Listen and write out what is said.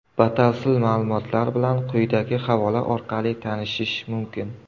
Batafsil ma’lumotlar bilan quyidagi havola orqali tanishish mumkin.